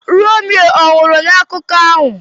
Romeo ọnwụrụ n'akụkọ ahụ?